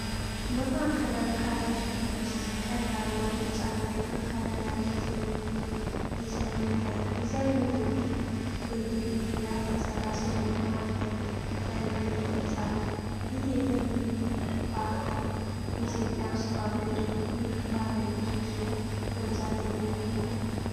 በማዕከላዊ ካሬ ሼፕ ውስጥ፣ ቀይ፣ አረንጓዴ፣ ቢጫና ጥቁር ከለር ያለው የቴምብሪንግ ዲዛይን ይታያል። ዲዛይኑ በ ግሪድ ላይ የተሰራ ሲሆን፣ በመሃል ዳይመንድ ቅርጽ አለው። ይህ የቴምብሪንግ ፓተርን በኢትዮጵያ ውስጥ ባሉ የደቡብ ክልሎች ባህላዊ ልብሶች ላይ በብዛት ጥቅም ላይ ይውላል?